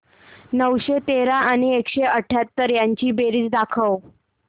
नऊशे तेरा आणि एकशे अठयाहत्तर यांची बेरीज दाखव